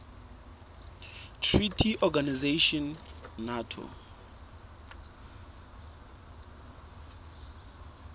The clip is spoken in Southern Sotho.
treaty organization nato